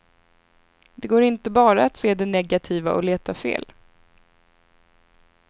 Det går inte bara att se det negativa och leta fel.